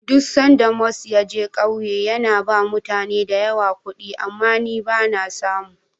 Duk sanda Mus ya je ƙauye, yana ba mutane da yawa kuɗi, amma ni ba na samu.